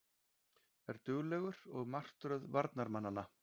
Er duglegur og martröð varnarmanna.